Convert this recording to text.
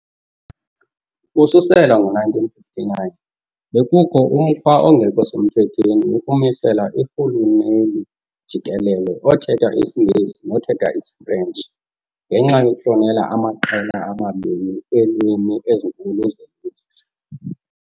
Ukususela ngo-1959, bekukho umkhwa ongekho semthethweni wokumisela irhuluneli jikelele othetha isiNgesi nothetha isiFrentshi ngenxa yokuhlonela amaqela amabini eelwimi ezinkulu zelizwe.